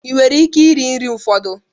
Ị nwere ike iri nri ụfọdụ?